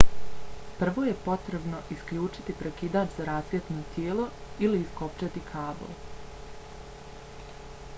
prvo je potrebno isključiti prekidač za rasvjetno tijelo ili iskopčati kabl